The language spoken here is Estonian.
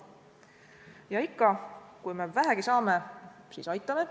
Ja ikka, kui me vähegi saame, siis aitame.